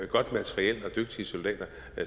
godt materiel og dygtige soldater